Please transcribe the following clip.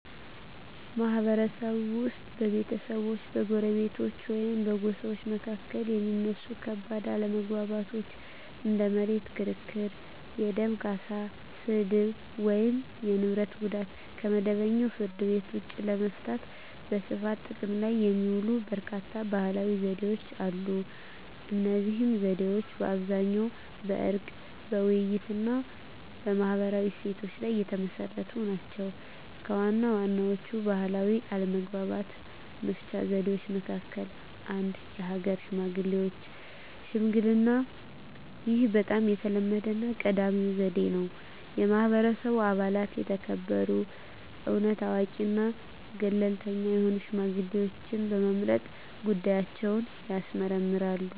ማህበረሰብ ውስጥ በቤተሰቦች፣ በጎረቤቶች ወይም በጎሳዎች መካከል የሚነሱ ከባድ አለመግባባቶችን (እንደ መሬት ክርክር፣ የደም ካሳ፣ ስድብ፣ ወይም የንብረት ጉዳት) ከመደበኛው ፍርድ ቤት ውጭ ለመፍታት በስፋት ጥቅም ላይ የሚውሉ በርካታ ባህላዊ ዘዴዎች አሉ። እነዚህ ዘዴዎች በአብዛኛው በዕርቅ፣ በውይይት፣ እና በማህበራዊ እሴቶች ላይ የተመሰረቱ ናቸው። ከዋና ዋናዎቹ ባህላዊ አለመግባባት መፍቻ ዘዴዎች መካከል - 1. የሀገር ሽማግሌዎች ሽምግልናይህ በጣም የተለመደውና ቀዳሚው ዘዴ ነው። የማህበረሰቡ አባላት የተከበሩ፣ እውነት አዋቂ እና ገለልተኛ የሆኑ ሽማግሌዎችን በመምረጥ ጉዳያቸውን ያስመርምራሉ።